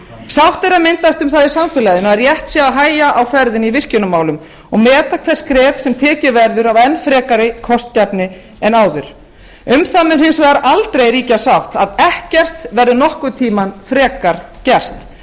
sátt er að myndast um það í samfélaginu að rétt sé að hægja á ferðinni í virkjunarmálum og meta hvert skref sem tekið verður af enn frekari kostgæfni en áður um það mun hins vegar aldrei ríkja sátt að ekkert verður nokkurn tíma frekar gert að